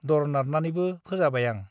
दर नारनानैबो फोजाबाय आं ।